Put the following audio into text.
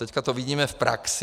Teď to vidíme v praxi.